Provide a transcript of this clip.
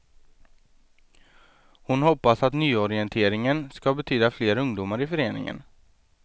Hon hoppas att nyorienteringen skall betyda fler ungdomar i föreningen.